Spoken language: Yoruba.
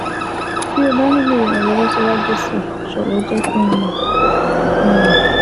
Bí o bá nílò ìrànlọ́wọ́ síwájú sí i, jọ̀wọ́ jẹ́ kí n mọ̀ n mọ̀